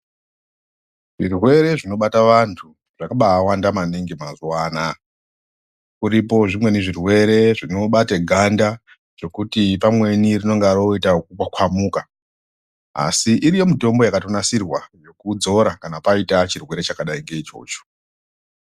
Zvirwere zvinobata vantu zvakabawanda maningi mazuwanaya. Uripo zvimweni zvirwere zvinobate ganda zokuti pamweni zvinonga roita kukwakwamuka, asi iriyo mitombo yakatonasirwa yokudzora kana paita chirwere chakadai ngechocho.